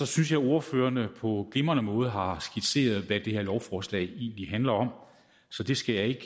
synes at ordførerne på glimrende måde har skitseret hvad det her lovforslag egentlig handler om så det skal jeg ikke